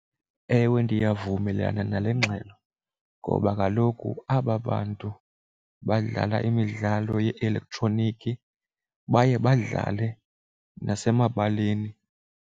Ewe, ndiyavumelana nale ngxelo ngoba kaloku aba bantu badlala imidlalo ye-elektroniki baye badlale nasemabaleni.